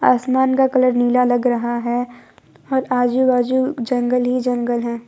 आसमान का कलर नीला लग रहा है और आजू बाजू जंगल ही जंगल हैं।